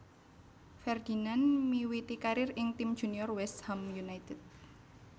Ferdinand miwiti karier ing tim junior West Ham United